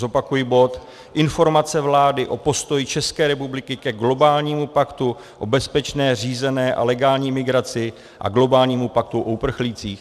Zopakuji bod Informace vlády o postoji České republiky ke globálnímu paktu o bezpečné, řízené a legální migraci a globálnímu paktu o uprchlících.